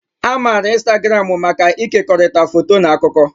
A maara ịnstagramụ maka ịkekọrịta foto na akụkọ.